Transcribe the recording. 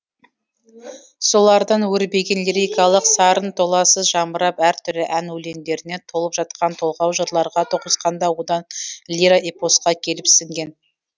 солардан өрбіген лирикалық сарын толассыз жамырап әр түрлі ән өлеңдеріне толып жатқан толғау жырларға тоғысқан да одан лиро эпосқа келіп сіңген